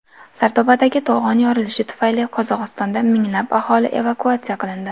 Sardobadagi to‘g‘on yorilishi tufayli Qozog‘istonda minglab aholi evakuatsiya qilindi.